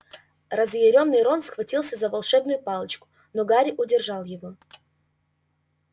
разъярённый рон схватился за волшебную палочку но гарри удержал его